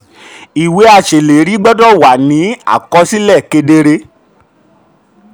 thirty. ìwé aṣèlérí gbọ́dọ̀ wà aṣèlérí gbọ́dọ̀ wà ní àkọsílẹ̀ kedere.